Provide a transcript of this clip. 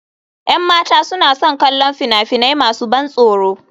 Yan mata suna son kallon fina-finai masu ban tsoro.